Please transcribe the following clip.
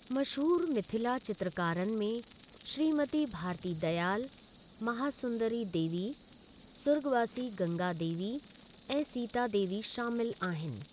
मशहूरु मिथिला चित्रकारनि में श्रीमती भारती दयाल, महासुंदरी देवी, सुर्ॻवासी गंगा देवी ऐं सीता देवी शामिलु आहिनि।